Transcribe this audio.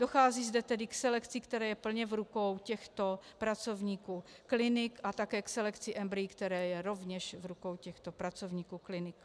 Dochází zde tedy k selekci, která je plně v rukou těchto pracovníků klinik, a také k selekci embryí, která je rovněž v rukou těchto pracovníků klinik.